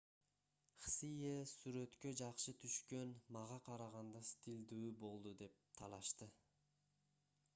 хсие сүрөткө жакшы түшкөн мага караганда стилдүү болду деп талашты